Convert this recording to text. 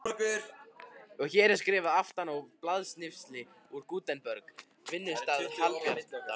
Og hér er skrifað aftan á blaðsnifsi úr Gutenberg, vinnustað Hallbjarnar